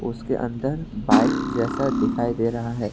उसके अंदर बाइक जैसा दिखाई दे रहा है।